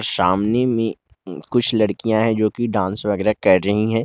सामने में कुछ लड़कियां है जो की डांस वगैरा कर रही है।